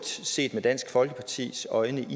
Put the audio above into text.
set med dansk folkepartis øjne